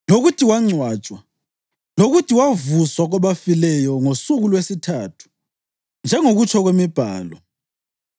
lokuthi wangcwatshwa, lokuthi wavuswa kwabafileyo ngosuku lwesithathu njengokutsho kwemibhalo,